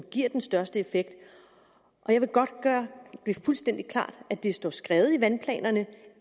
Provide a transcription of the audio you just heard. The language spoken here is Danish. giver den største effekt jeg vil godt gøre det fuldstændig klart at det står skrevet i vandplanerne